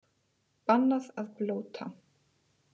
Bannað að blóta